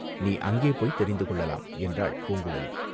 நீ அங்கே போய்த் தெரிந்து கொள்ளலாம்" என்றாள் பூங்குழலி.